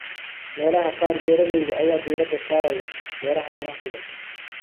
Meelaha qaar, beeralayda ayaa diiradda saaraya beeraha ganacsiga.